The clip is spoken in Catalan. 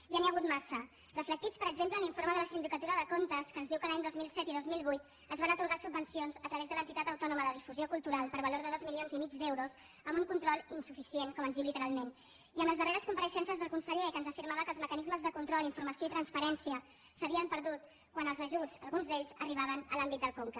ja n’hi ha ha·gut massa reflectits per exemple en l’informe de la sindicatura de comptes que ens diu que l’any dos mil set i dos mil vuit es van atorgar subvencions a través de l’entitat autònoma de difusió cultural per valor de dos milions i mig d’euros amb un control insuficient com ens diu literalment i en les darreres compareixences del con·seller que ens afirmava que els mecanismes de control informació i transparència s’havien perdut quan els ajuts alguns d’ells arribaven a l’àmbit del conca